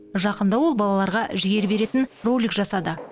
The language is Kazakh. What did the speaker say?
жақында ол балаларға жігер беретін ролик жасады